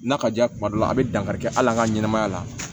N'a ka diya ye kuma dɔ la a bɛ dankari kɛ hali an ka ɲɛnɛmaya la